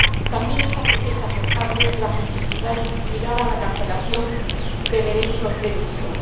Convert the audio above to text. También es aceptable la flexibilidad ligada a la cancelación de derechos de emisión.